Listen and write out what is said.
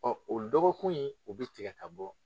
o dɔgɔkun in u bɛ tigɛ ka bɔ.